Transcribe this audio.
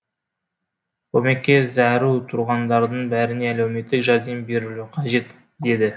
көмекке зәру тұрғындардың бәріне әлеуметтік жәрдем берілуі қажет деді